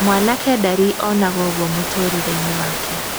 Mwanake ndarĩ anoga ũguo mũtũrĩre-inĩ wake.